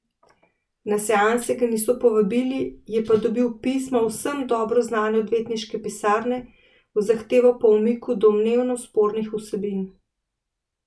Na seanse ga niso povabili, je pa dobil pismo vsem dobro znane odvetniške pisarne z zahtevo po umiku domnevno spornih vsebin.